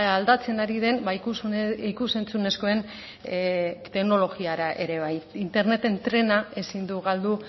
aldatzen ari den ikus entzunezkoen teknologiara ere bai interneten trena ezin du galdu